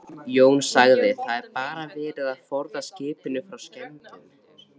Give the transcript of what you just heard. Jón: Það er bara verið að forða skipinu frá skemmdum?